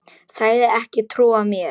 Sagðist ekki trúa mér.